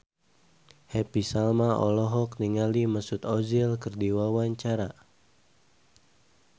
Happy Salma olohok ningali Mesut Ozil keur diwawancara